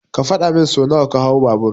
Ka faɗa min so nawa ka hau babur.